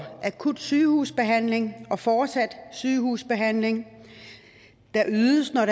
akut sygehusbehandling og fortsat sygehusbehandling der ydes når